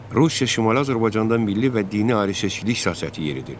Rusiya Şimali Azərbaycanda milli və dini ayrıseçkilik siyasəti yeridirdi.